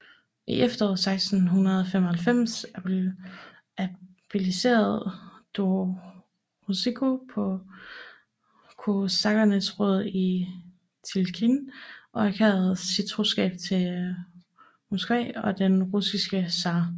I efteråret 1675 abdicerede Dorosjenko på kosakkernes råd i Tjigirin og erklærede sin troskab til Moskva og den russiske zar